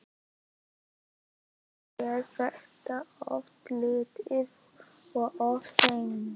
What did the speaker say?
En er þetta of lítið og of seint?